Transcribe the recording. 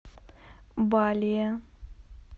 балее